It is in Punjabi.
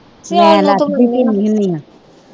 ਮੈ ਲੱਥਦੀ ਪੀਣੀ ਹੁਣੀ ਆ।